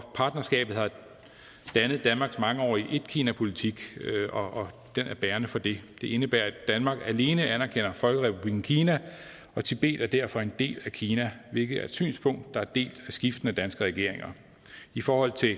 partnerskabet har dannet danmarks mangeårige etkinapolitik og den er bærende for det det indebærer at danmark alene anerkender folkerepublikken kina og tibet er derfor en del af kina hvilket er et synspunkt der er delt af skiftende danske regeringer i forhold til